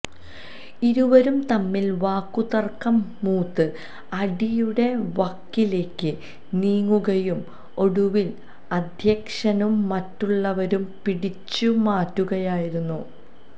ഇരുവരും തമ്മില് വാക്കുതര്ക്കം മൂത്ത് അടിയുടെ വക്കിലേക്ക് നീങ്ങുകയും ഒടുവില് അധ്യക്ഷനും മറ്റുള്ളവരും പിടിച്ചുമാറ്റുകയുമായിരുന്നു